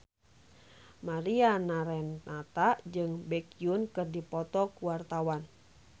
Mariana Renata jeung Baekhyun keur dipoto ku wartawan